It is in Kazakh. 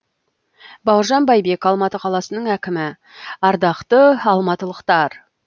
бауыржан байбек алматы қаласының әкімі ардақты алматылықтар